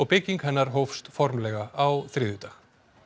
byggingu hennar hófust formlega á þriðjudag